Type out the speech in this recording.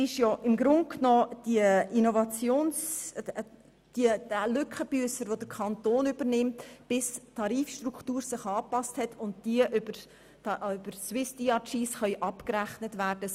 Es geht um die Finanzierungslücke, die der Kanton übernimmt, bis die Tarifstruktur angepasst worden ist und über SwissDRG abgerechnet werden kann.